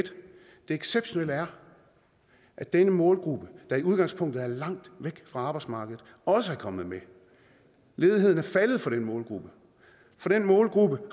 exceptionelle er at denne målgruppe der i udgangspunktet er langt væk fra arbejdsmarkedet også er kommet med ledigheden er faldet for den målgruppe for den målgruppe